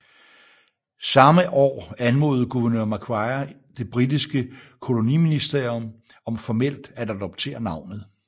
Samme år anmodede guvernør Macquarie det britiske koloniministerium om formelt at adoptere navnet